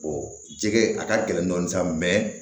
jɛgɛ a ka gɛlɛn dɔɔni sa